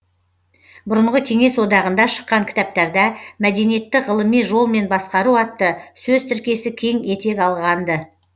бұрынғы кеңес одағында шыққан кітаптарда мәдениетті ғылыми жолмен басқару атты сөз тіркесі кең етек алған ды